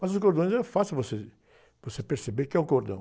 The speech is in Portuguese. Mas os cordões eram fáceis você, você perceber que é um cordão.